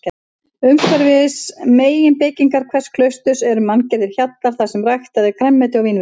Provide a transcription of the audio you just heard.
Umhverfis meginbyggingar hvers klausturs eru manngerðir hjallar þarsem ræktað er grænmeti og vínviður.